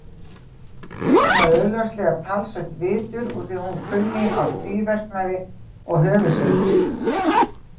Hún var augljóslega talsvert vitur úr því hún kunni á tvíverknaði og höfuðsyndir.